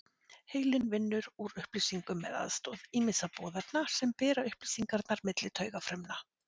Heilinn vinnur úr upplýsingum með aðstoð ýmissa boðefna sem bera upplýsingarnar milli taugafrumna.